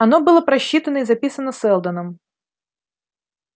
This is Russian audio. оно было просчитано и записано сэлдоном